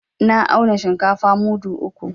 Na auna shinkafa mudu uku.